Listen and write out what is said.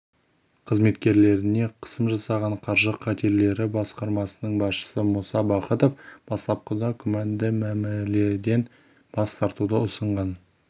қызметкерлеріне қысым жасаған қаржы қатерлері басқармасының басшысы мұса бахытов бастапқыда күмәнді мәміледен бас тартуды ұсынған